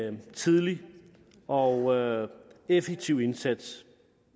en tidlig og effektiv indsats